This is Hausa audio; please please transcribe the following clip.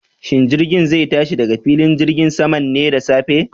Shin jirgin zai tashi daga filin jirgin saman ne da safe?